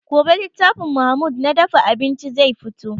Gobe littafin mahmud na dafa abinci zai fito